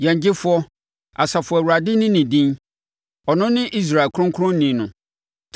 Yɛn Gyefoɔ, Asafo Awurade ne ne din, ɔno ne Israel Kronkronni.